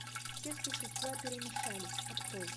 все существа перемешались открой